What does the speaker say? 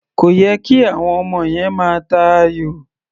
Kò yẹ kí àwọm ọmọ yẹn máa ta ayò.